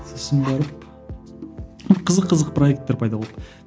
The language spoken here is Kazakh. сосын барып қызық қызық проектер пайда болды